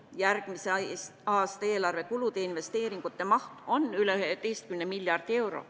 Järgmise aasta eelarvetulude investeeringute maht on üle 11 miljardi euro.